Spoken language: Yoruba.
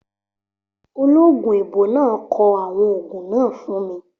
Ológun èèbó náà kọ àwọn ògùn náà fún mi